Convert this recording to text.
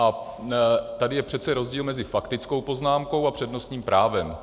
A tady je přece rozdíl mezi faktickou poznámkou a přednostním právem.